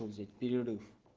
ну взять перерыв